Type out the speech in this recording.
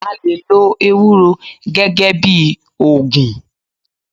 A lè lo ewúro gẹ́gẹ́ bíi ògùn.